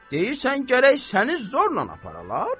Deyirsən gərək səni zorla aparalar?